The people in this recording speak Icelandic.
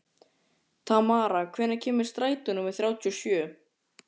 Tamara, hvenær kemur strætó númer þrjátíu og sjö?